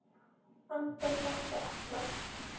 Anton þekkti alla.